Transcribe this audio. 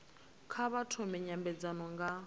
kha vha thome nymbedzano nga